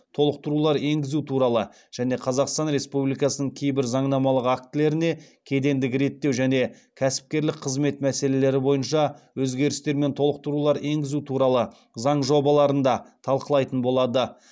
толықтырулар енгізу туралы және қазақстан республикасының кейбір заңнамалық актілеріне кедендік реттеу және кәсіпкерлік қызмет мәселелері бойынша өзгерістер мен толықтырулар енгізу туралы заң жобаларын да талқылайтын болады